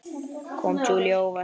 Kom Júlíu á óvart.